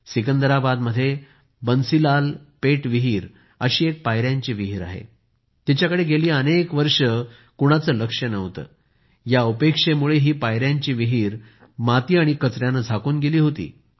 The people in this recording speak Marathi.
सिकंदराबादमध्ये बन्सीलालपेट इथे विहीर अशी एक पाययांची विहीर आहे तिच्याकडे गेली अनेक वर्षे कुणाचं लक्ष नव्हतं या उपेक्षेमुळे ही पाययांची विहीर माती आणि कचयानं झाकून गेली होती